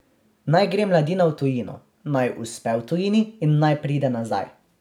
Naj gre mladina v tujino, naj uspe v tujini in naj pride nazaj.